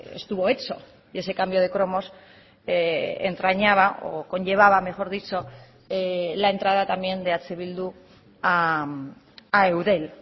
estuvo hecho y ese cambio de cromos entrañaba o conllevaba mejor dicho la entrada también de eh bildu a eudel